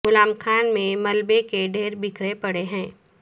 غلام خان میں ملبے کے ڈھیر بکھرے پڑے ہیں